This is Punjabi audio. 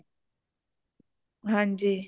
ਹੰਜੀ